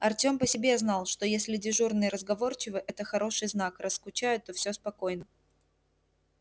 артём по себе знал что если дежурные разговорчивы это хороший знак раз скучают то всё спокойно